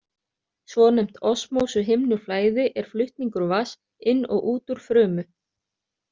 Svonefnt osmósuhimnuflæði er flutningur vatns inn og út úr frumu.